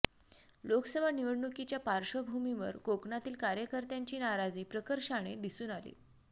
लोकसभा निवडणुकीच्या पार्श्वभूमीवर कोकणातील कार्यकर्त्यांची नाराजी प्रकर्षाने दिसून आली